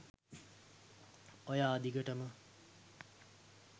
ඔයා දිගටම